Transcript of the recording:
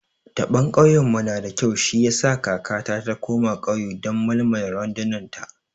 Taɓon kauyen mu nada kyau shi yasa kakata ta koma kauye don malmala randunar ta